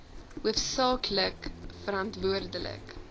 hoofsaak lik verantwoordelik